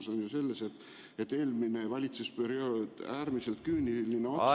Küsimus on ju selles, et eelmine valitsusperiood, äärmiselt küüniline otsus ...